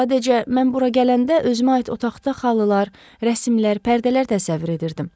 Sadəcə, mən bura gələndə özümə aid otaqda xalılar, rəsimlər, pərdələr təsəvvür edirdim.